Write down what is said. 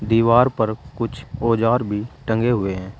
दीवार पर कुछ औजार भी टंगे हुए हैं।